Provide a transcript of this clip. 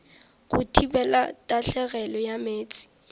go thibela tahlegelo ya meetse